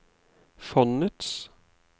fondets